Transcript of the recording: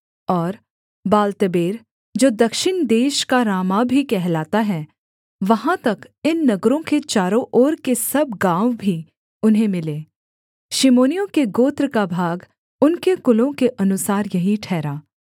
और बालत्बेर जो दक्षिण देश का रामाह भी कहलाता है वहाँ तक इन नगरों के चारों ओर के सब गाँव भी उन्हें मिले शिमोनियों के गोत्र का भाग उनके कुलों के अनुसार यही ठहरा